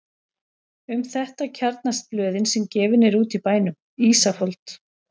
Um þetta kjarnast blöðin sem gefin eru út í bænum: Ísafold